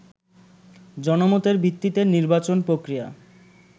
জনমতের ভিত্তিতে নির্বাচন প্রক্রিয়া